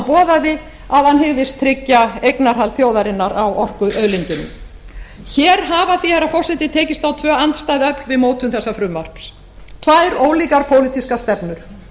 boðaði að hygðist tryggja eignarhald þjóðarinnar á orkuauðlindunum hér hafa því herra forseti tekist á tvö andstæð öfl við mótun þessa frumvarps tvær ólíkar pólitískar stefnur